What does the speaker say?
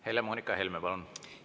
Helle-Moonika Helme, palun!